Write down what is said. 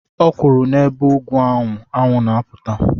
Ọ kwuru n'ebe ugwu anwụ na-apụta